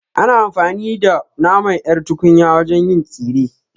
Ana amfani da naman ƴar tunkiya wajen yin tsire